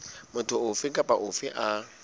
motho ofe kapa ofe a